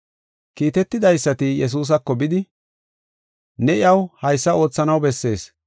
Kiitetidaysati, Yesuusako bidi, “Ne iyaw haysa oothanaw bessees.